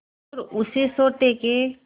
और उसी सोटे के